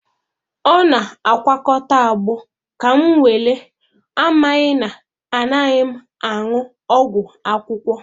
Ọ na-agwakọta agbo ka m were amaghị na anaghị m aṅụ ọgwụ akwụkwọ.